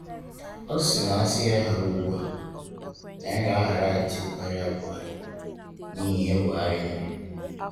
Ọ sị na asị ya hara ugbua, na ya ga ahara Atiku karịa Buhari n'ihi ihe Buhari mere.